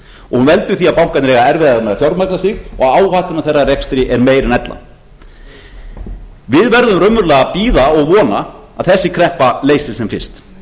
hún veldur því að bankarnir eiga erfiðara með að fjármagna sig og áhættan af þeirra rekstri er meiri en ella við verðum raunverulega að bíða og vona að þessi kreppa leysist sem fyrst